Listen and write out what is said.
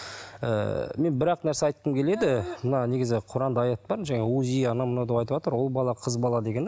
ыыы мен бір ақ нәрсе айтқым келеді мына негізі құранда аят бар жаңа узи анау мынау деп айтыватр ұл бала қыз бала дегені